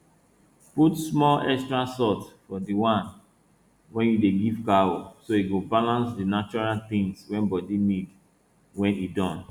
put small extra salt for the one wey you dey give cow so e go balance di natural tins wey body need wey e don